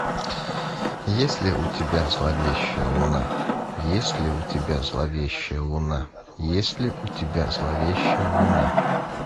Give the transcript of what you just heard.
есть ли у тебя зловещая луна есть ли у тебя зловещая луна есть ли у тебя зловещая луна